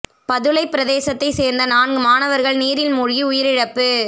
பதுளை பிரதேசத்தை சேர்ந்த நான்கு மாணவர்கள் நீரில் மூழ்கி உயிரிழப்பு